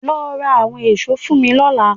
Lọ ra àwọn èso fún mi lọ́la